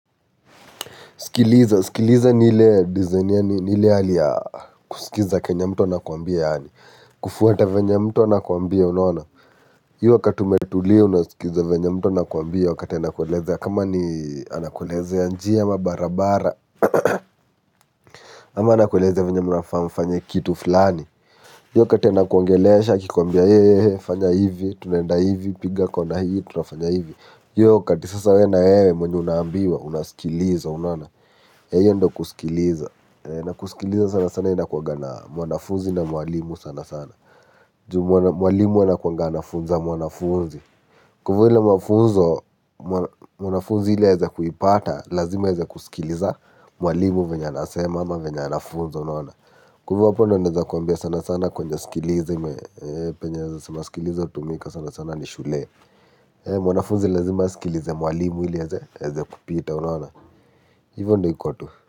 Sikiliza, sikiliza ni ile dizaini yani ni ile hali ya kusikiza kenye mtu ana kwambia yaani. Kufuata vyenye mtu anakwambia unaona. Hiyo wakati umetulia unasikiliza venya mtu anakwambia wakati anakueleza. Kama ni anakulezea njia ama barabara, ama anakueleza venye mnafaa mfanye kitu fulani. Hiyo kati ana kuongelesha, akikwambia ye, ye, he, fanya hivi, tunaenda hivi, piga kona hii, tunafanya hivi. Hiyo wakati sasa yeye na wewe mwenye unaambiwa unasikiliza unaona. Hiyo ndo kusikiliza, na kusikiliza sana sana iinakuwaga na mwanafunzi na mwalimu sana sana. Juu, mwalimu anakunga anafunza mwanafunzi. Kufulu mafunzo mwanafunzi ili aweze kuipata, lazima aweze kusikiliza mwalimu venye anasema ama venye anafunza unaona? Kwaiyo kwa mfano naweza kukwaambia sana sana kwenye sikiliza me, penye sikiliza tumika sana sana ni shule. Mwanafunzi lazima asikilize mwalimu ili aweze, aweze kupita unaona? Hiyo ndo iko tu.